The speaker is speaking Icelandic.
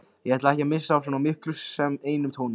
Ég ætla ekki að missa af svo miklu sem einum tóni.